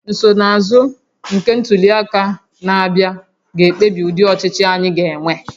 Nsonaazụ nke ntuli aka na-abịa ga-ekpebi ụdị ọchịchị anyị ga-enwe